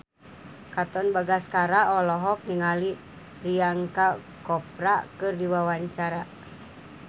Katon Bagaskara olohok ningali Priyanka Chopra keur diwawancara